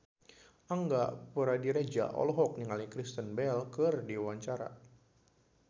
Angga Puradiredja olohok ningali Kristen Bell keur diwawancara